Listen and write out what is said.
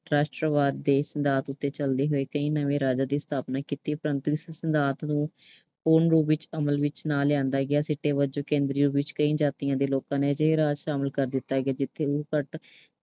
ਰਾਸ਼ਟਰਵਾਦ ਦੇ ਸਿਧਾਂਤ ਤੇ ਚਲਦੇ ਹੋਏ ਕਈ ਨਵੇਂ ਰਾਜਾਂ ਦਾ ਸਥਾਪਨਾ ਕੀਤੀ। ਪ੍ਰੰਤੂ ਇਸ ਸਿਧਾਂਤ ਨੂੰ ਪੂਰਨ ਰੂਪ ਵਿੱਚ ਅਮਲ ਵਿੱਚ ਨਾ ਲਿਆਂਦਾ ਗਿਆ। ਸਿੱਟੇ ਵਜੋਂ ਵਿੱਚ ਕਈ ਜਾਤੀਆਂ ਦੇ ਲੋਕਾਂ ਨੂੰ ਅਜਿਹੇ ਰਾਜ ਸ਼ਾਮਲ ਵਿੱਚ ਕਰ ਦਿੱਤਾ ਗਿਆ ਜਿੱਥੇ ਉਹ ਘੱਟ